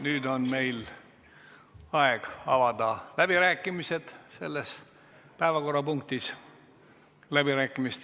Nüüd on meil aeg avada selle päevakorrapunkti läbirääkimised.